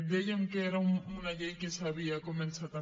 dèiem que era una llei que s’havia començat amb